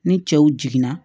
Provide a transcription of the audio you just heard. Ni cɛw jiginna